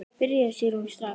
Byrjaðu Sigrún, strax.